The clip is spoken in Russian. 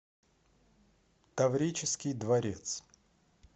таврический дворец